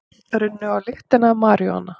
Runnu á lyktina af maríjúana